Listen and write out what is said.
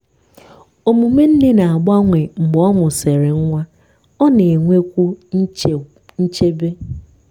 omume nne na-agbanwe mgbe ọ mụsịrị nwa—ọ na-enwekwu nchebe.